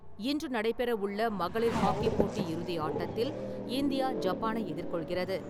இன்று நடைபெறவுள்ள மகளிர் ஹாக்கி போட்டி இறுதி ஆட்டத்தில் இந்தியா, ஜப்பானை எதிர்கொள்கிறது.